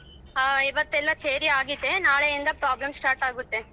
ಹಾ ಇವತ್ತೆಲ್ಲಾ theory ಆಗಿದೆ ನಾಳೆಯಿಂದ problem start ಆಗುತ್ತೆ.